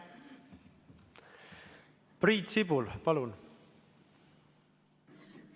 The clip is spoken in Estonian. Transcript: Priit Sibul, palun!